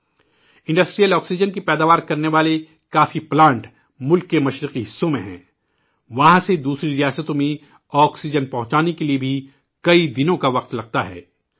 ملک کے مشرقی حصوں میں صنعتی آکسیجن تیار کرنے والے بہت سے پلانٹ ہیں ، وہاں سے آکسیجن کو دوسری ریاستوں میں لے جانے میں بھی کئی دن لگتے ہیں